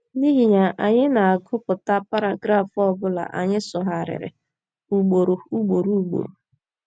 N’ihi ya, anyị na - agụpụta paragraf ọ bụla anyị sụgharịrị ugboro ugboro ugboro.